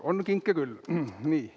On kinke küll!